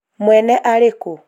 mwene arĩ kũ?